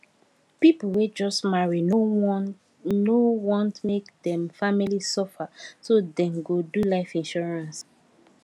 people wey just marry no want no want make dem family suffer so dem go do life insurance